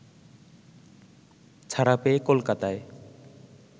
ছাড়া পেয়ে কলকাতায়